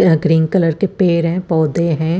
अ green colour कि पेड़ है पोधे है।